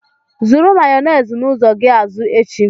Zụrụ Mayonezi n'ụzọ gị azụ echi!